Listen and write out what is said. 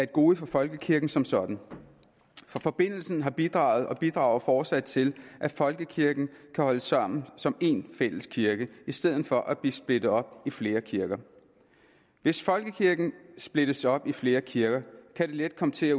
gode for folkekirken som sådan for forbindelsen har bidraget og bidrager fortsat til at folkekirken kan holde sammen som én fælles kirke i stedet for at blive splittet op i flere kirker hvis folkekirken splittes op i flere kirker kan de let komme til at